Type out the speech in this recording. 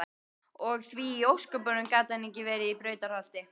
Og því í ósköpunum gat hann ekki verið í Brautarholti?